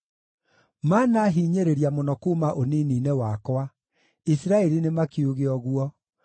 Maanahinyĩrĩria mũno kuuma ũnini-inĩ wakwa, Isiraeli nĩmakiuge ũguo,